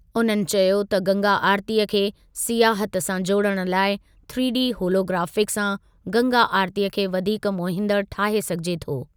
उन्हनि चयो त गंगा आरतीअ खे सियाहत सां जोड़णु लाइ थ्रीडी होलोग्राफिक सां गंगा आरतीअ खे वधीक मोहींदड़ु ठाहे सघिजे थो।